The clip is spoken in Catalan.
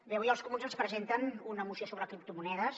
bé avui els comuns ens presenten una moció sobre criptomonedes